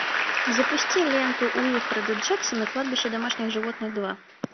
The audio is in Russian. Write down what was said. запусти ленту уилфреда джексона кладбище домашних животных два